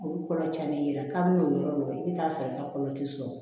Olu kɔlɔ tiɲɛnen yɛrɛ kabini o yɔrɔ la i bi t'a sɔrɔ i ka kɔlɔ ti sɔrɔ